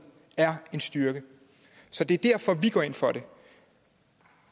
er en styrke så det er derfor vi går ind for det